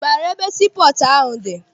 Ị maara ebe sii pọọtụ dị?